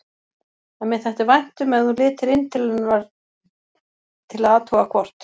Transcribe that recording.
En mér þætti vænt um ef þú litir inn til hennar til að athuga hvort